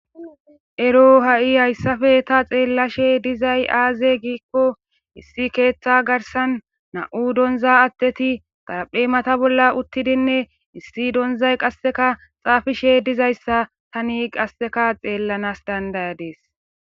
Ero ha'i hayssafe ta xeellashe dizay aaze giikko issi keeththa garsan na'u donza atteti taraphe mata bolla uttidinne issi donzay qasseka xaafishe dizayssa tani qasseka xeellanas dandayadees